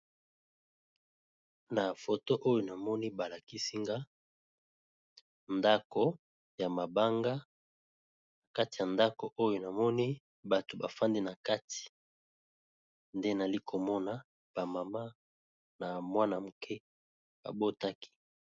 Kamwa ndako ya mabanga, balakisi la vierge Marie na l'enfant Jesus nakati.